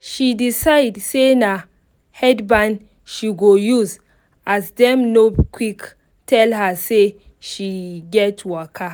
she decide say na headband she go use as dem no quick tell her say she get waka